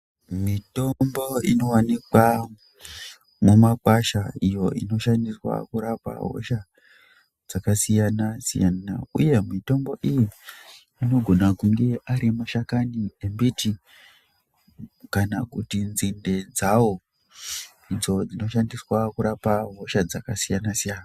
Mitombo ino wanikwa muma kwasha iyo ino shandiswa kurapa hosha dzaka siyana siyana iyo mitombo iyi inogona kunge ari mashakani mbiti kana kuti nzinde dzawo idzo dzino shandiswa kurapa hosha dzaka siyana siyana.